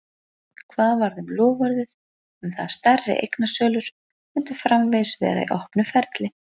Hvað varð um loforðið um það að stærri eignasölur myndu framvegis vera í opnu ferli?